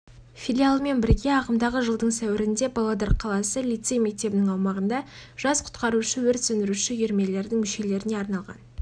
филиалымен бірге ағымдағы жылдың сәуірінде павлодар қаласы лицей-мектебінің аумағында жас құтқарушы-өрт сөндіруші үйірмелерінің мүшелеріне арналған